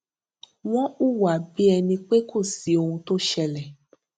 wón hùwà bí ẹni pé kò sí ohuntó ṣẹlẹ